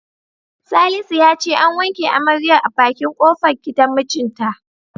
Salisu ya ce an wanke amaryar a bakin kofar gidan mijinta.